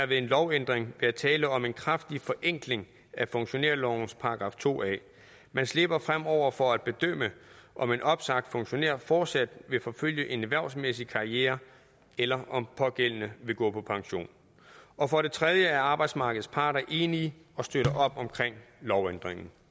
ved en lovændring være tale om en kraftig forenkling af funktionærlovens § to a man slipper fremover for at bedømme om en opsagt funktionær fortsat vil forfølge en erhvervsmæssig karriere eller om pågældende vil gå på pension og for det tredje er arbejdsmarkedets parter enige og støtter op om lovændringen